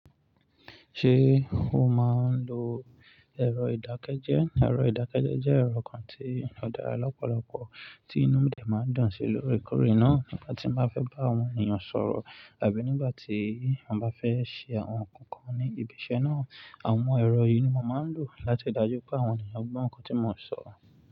Ṣé o máa ń lo ẹ̀rọ ìdákẹ́jẹ́? Ẹ̀rọ ìdákẹ́jẹ́ jẹ́ ẹ̀rọ kan tí ó dára lọ́pọ̀lọpọ̀ tí inú mi de máa ń dùn sí lórí e Torí náà, nígbà tí mo bá fẹ́ bá àwọn ènìyàn sọ̀rọ̀ àbí nígbà tí a bá fẹ́ ṣe àwọn nǹkan kan ní ibi iṣẹ́ náà, àwọn ẹ̀rọ yìí ni mo máa ń lò láti ri dájú pé àwọn ènìyàn gbọ́ nǹkan tí mo ń sọ̀